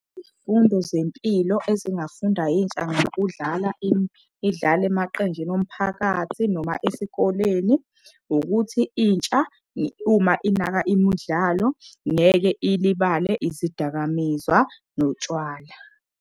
Izifundo zempilo ezingafunda yintsha ngokudlala emaqenjini omphakathi noma esikoleni. Ukuthi intsha uma inaka imudlalo ngeke ilibale izidakamizwa notshwala.